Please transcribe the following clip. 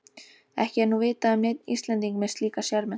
Ekki er nú vitað um neinn Íslending með slíka sérmenntun.